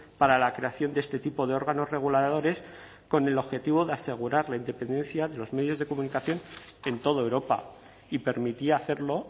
para la creación de este tipo de órganos reguladores con el objetivo de asegurar la independencia de los medios de comunicación en toda europa y permitía hacerlo